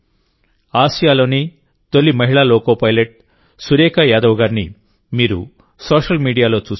ఆసియాలోనే తొలి మహిళా loco pilot Surekha Yadav గారిని మీరు సోషల్ మీడియాలో చూసి ఉంటారు